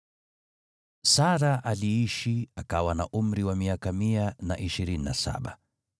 Sara aliishi akawa na umri wa miaka mia na ishirini na saba.